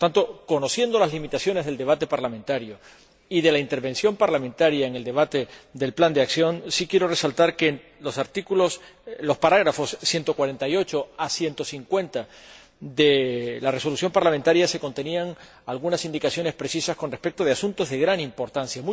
Por tanto, conociendo las limitaciones del debate parlamentario y de la intervención parlamentaria en el debate del Plan de Acción, sí quiero resaltar que los apartados 148 a 150 de la Resolución parlamentaria contenían algunas indicaciones precisas con respecto a asuntos de gran importancia.